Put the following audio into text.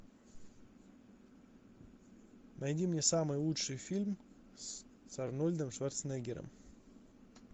найди мне самый лучший фильм с арнольдом шварценеггером